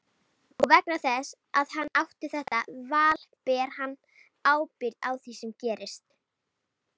Og vegna þess að hann átti þetta val ber hann ábyrgð á því sem gerist.